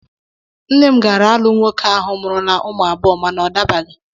Nne m gaara alụ nwoke ahụ mụrụla ụmụ abụọ mana ọ dabaghị